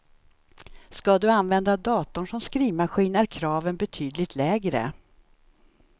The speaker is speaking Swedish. Ska du använda datorn som skrivmaskin är kraven betydligt lägre.